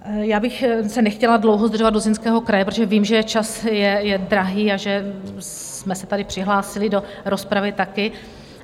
Já bych se nechtěla dlouho zdržovat u Zlínského kraje, protože vím, že čas je drahý a že jste se tady přihlásili do rozpravy taky.